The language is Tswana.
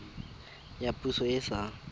ya poso e e sa